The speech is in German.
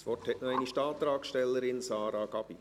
Das Wort hat nochmals die Antragstellerin, Sarah Gabi.